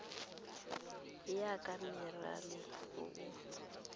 ya ka minerale o o